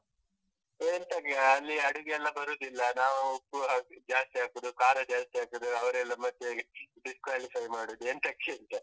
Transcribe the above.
ಎಂತಕ್ಕೆಯಾ ಅಲ್ಲಿ ಅಡುಗೆ ಎಲ್ಲಾ ಬರುದಿಲ್ಲ, ನಾವ್ ಉಪ್ಪು ಹಾಕಿದ್ದು ಜಾಸ್ತಿ ಹಾಕುದು, ಖಾರಾ ಜಾಸ್ತಿ ಹಾಕುದು, ಅವರೆಲ್ಲ ಮತ್ತೆ disqualify ಮಾಡುದು ಎಂತಕ್ಕೆಂತಾ.